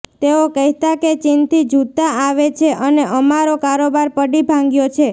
તેઓ કહેતા કે ચીનથી જૂતાં આવે છે અને અમારો કારોબાર પડી ભાંગ્યો છે